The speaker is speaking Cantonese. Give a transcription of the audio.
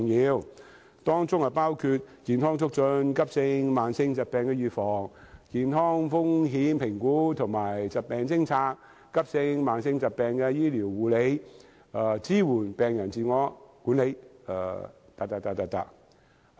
包括提供以下各類服務；健康促進；急性及慢性疾病的預防；健康風險評估和疾病偵察；急性及慢性疾病的治療和護理；支援病人自我管理......